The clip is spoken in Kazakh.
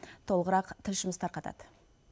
толығырақ тілшіміз тарқатады